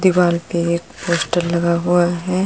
दीवाल पे एक पोस्टर लगा हुआ है।